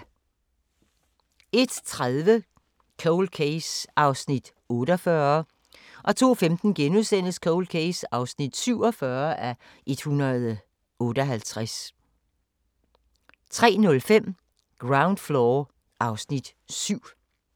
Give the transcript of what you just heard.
01:30: Cold Case (48:156) 02:15: Cold Case (47:156)* 03:05: Ground Floor (Afs. 7)